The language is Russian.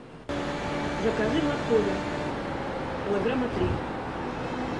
закажи моркови килограмма три